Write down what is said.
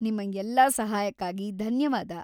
ನಿಮ್ಮ ಎಲ್ಲಾ ಸಹಾಯಕ್ಕಾಗಿ ಧನ್ಯವಾದ.